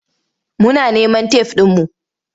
Muna neman tef ɗinmu.